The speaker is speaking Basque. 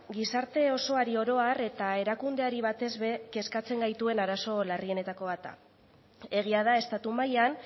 gizarte osoari oro har eta erakundeari batez ere kezkatzen gaituen arazo larrienetako bat da egia da estatu mailan